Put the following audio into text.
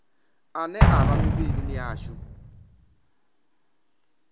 ane a vha mivhilini yashu